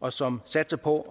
og som satser på